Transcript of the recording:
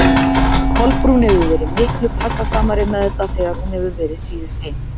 Kolbrún hefur verið miklu passasamari með þetta þegar hún hefur verið síðust heim.